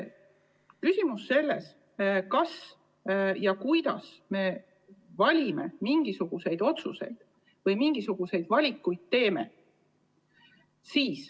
Nüüd sellest, kas ja kuidas me mingisuguseid otsuseid või valikuid teeme.